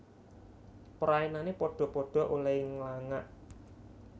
Praenane padha padha olehe nglangak